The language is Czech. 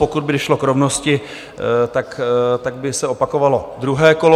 Pokud by došlo k rovnosti, tak by se opakovalo druhé kolo.